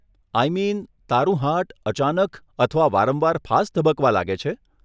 આઈ mean, તારું heart અચાનક અથવા વારંવાર ફાસ્ટ ધબકવા લાગે છે?